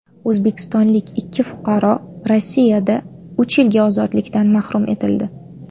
O‘zbekistonlik ikki fuqaro Rossiyada uch yilga ozodlikdan mahrum etildi.